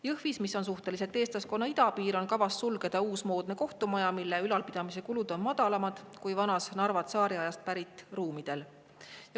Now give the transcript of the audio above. Jõhvis, mis on suhteliselt eestlaskonna idapiir, on kavas sulgeda uus moodne kohtumaja, mille ülalpidamise kulud on madalamad kui Narvas vanade tsaariajast pärit ruumide puhul.